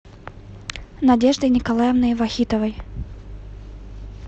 надеждой николаевной вахитовой